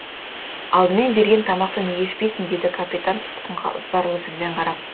алдымен берген тамақты неге ішпейсің деді капитан тұтқынға ызбарлы жүзбен қарап